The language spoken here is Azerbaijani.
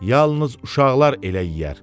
Yalnız uşaqlar elə yeyər.